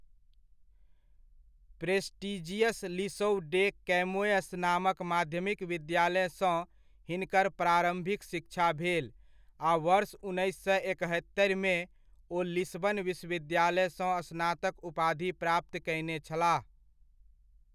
Prestigious Liceu de Camoes नामक माध्यमिक विद्यालयसँ हिनकर प्रारम्भिक शिक्षा भेल आ वर्ष उन्नैस सए एकहत्तरिमे, ओ लिस्बन विश्वविद्यालयसँ स्नातक उपाधि प्राप्त कयने छलाह।